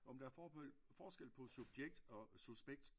Jo men der er forskel på subjekt og suspekt